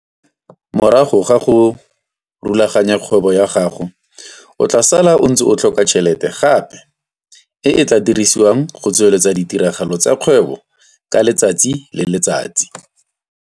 Morago ga go rulaganya kgwebo ya gago o tlaa sala o ntse o tlhoka tšhelete gape e e tlaa dirsiwang go tsweleletsa ditiragalo tsa kgwebo ka letsatsi le le tsatsi.